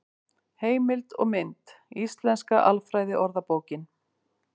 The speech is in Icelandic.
Heimild og mynd: Íslenska alfræðiorðabókin.